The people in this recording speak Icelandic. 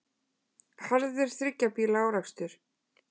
Harður þriggja bíla árekstur